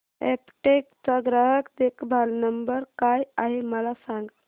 Aptech चा ग्राहक देखभाल नंबर काय आहे मला सांग